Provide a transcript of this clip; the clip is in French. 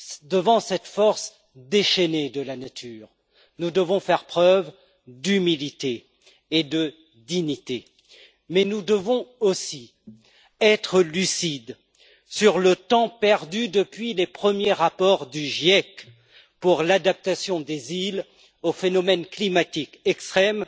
Devant cette force déchaînée de la nature, nous devons faire preuve d'humilité et de dignité, mais nous devons aussi être lucides sur le temps perdu depuis les premiers rapports du GIEC pour l'adaptation des îles aux phénomènes climatiques extrêmes